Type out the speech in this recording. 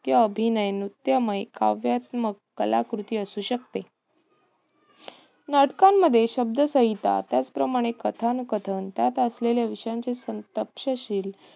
किंवा अभिनय, नृत्यामय, काव्यात्मक कलाकृती असू शकते. नाटकांमध्ये शब्दसंहिता त्याचप्रमाणे कथाकथन त्यात असेल्या विषयांचे तक्षशिल